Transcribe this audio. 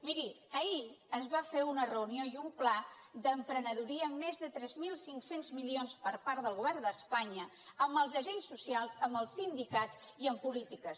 miri ahir es va fer una reunió i un pla d’emprenedoria amb més de tres mil cinc cents milions per part del govern d’espanya amb els agents socials amb els sindicats i amb polítiques